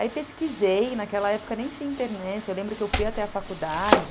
Aí pesquisei, naquela época nem tinha internet, eu lembro que eu fui até a faculdade...